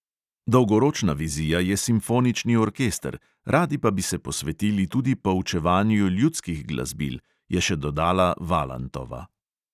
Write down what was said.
Dolgoročna vizija je simfonični orkester, radi pa bi se posvetili tudi poučevanju ljudskih glasbil, je še dodala valantova.